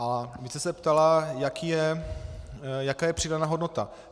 A vy jste se ptala, jaká je přidaná hodnota.